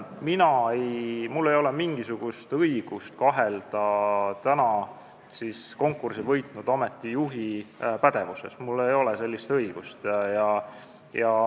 Minul ei ole mingisugust õigust kahelda konkursi võitnud ametijuhi pädevuses, mul ei ole sellist õigust.